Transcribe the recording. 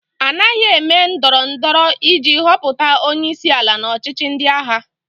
A naghị eme ndọrọ ndọrọ iji họpụta onye isi ala n'ọchịchị ndị agha.